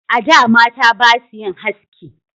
A da mata basu yin haski